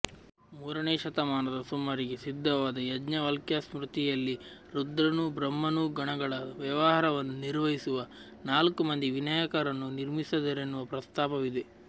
ಮೂರನೇ ಶತಮಾನದ ಸುಮಾರಿಗೆ ಸಿದ್ಧವಾದ ಯಾಜ್ಞವಲ್ಕ್ಯಸ್ಮೃತಿಯಲ್ಲಿ ರುದ್ರನೂ ಬ್ರಹ್ಮನೂ ಗಣಗಳ ವ್ಯವಹಾರವನ್ನು ನಿರ್ವಹಿಸುವ ನಾಲ್ಕು ಮಂದಿ ವಿನಾಯಕರನ್ನು ನಿರ್ಮಿಸಿದರೆನ್ನುವ ಪ್ರಸ್ತಾಪವಿದೆ